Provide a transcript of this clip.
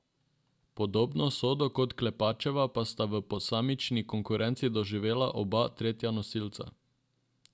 Podobno usodo kot Klepačeva pa sta v posamični konkurenci doživela oba tretja nosilca.